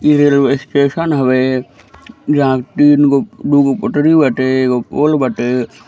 ई railway station हवे जहाँ तीन गो दू गो पटरी बाटे एक गो पोल बाटे।